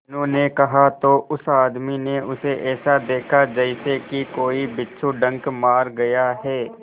मीनू ने कहा तो उस आदमी ने उसे ऐसा देखा जैसे कि कोई बिच्छू डंक मार गया है